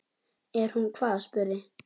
Er hún hvað, spurði